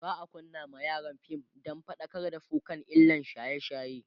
za'a kunna ma yaran fim Dan faɗakar da su kan illan shaye shaye